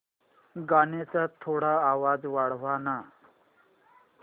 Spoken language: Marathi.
गाण्याचा थोडा आवाज वाढव ना